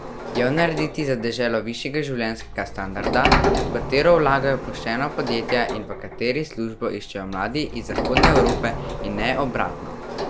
Jo narediti za deželo višjega življenjskega standarda, v katero vlagajo poštena podjetja in v kateri službo iščejo mladi iz Zahodne Evrope in ne obratno.